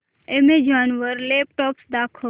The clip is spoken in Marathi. अॅमेझॉन वर लॅपटॉप्स दाखव